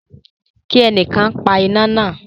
Ki ẹnìkan pa iná náà.